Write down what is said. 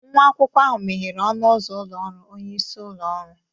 Nwa akwụkwọ ahụ meghere ọnụ ụzọ ụlọ ọrụ onye isi ụlọ ọrụ.